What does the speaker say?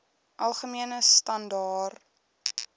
algemene standaar